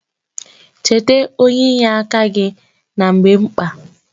Cheta onye inye aka gị na mgbe mkpa